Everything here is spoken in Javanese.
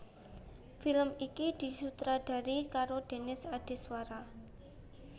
Film iki disutradarai karo Denis Adiswara